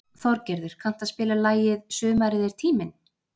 Þorgerður, kanntu að spila lagið „Sumarið er tíminn“?